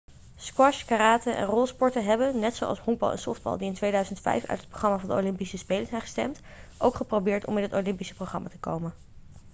squash karate en rolsporten hebben net zoals honkbal en softbal die in 2005 uit het programma van de olympische spelen zijn gestemd ook geprobeerd om in het olympische programma te komen